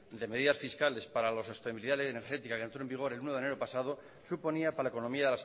de medidas fiscales para la sostenibilidad energética que entró en vigor el uno de enero pasado suponía para la economía